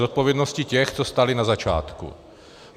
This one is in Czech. Zodpovědnosti těch, co stáli na začátku.